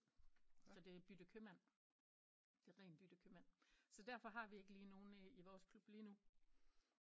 Så det er bytte købmand det er rent bytte købmand så derfor har vi ikke lige nogen i vores klub lige nu